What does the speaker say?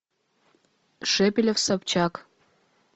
шепелев собчак